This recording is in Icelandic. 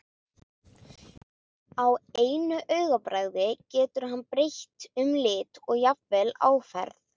Á einu augabragði getur hann breytt um lit og jafnvel áferð.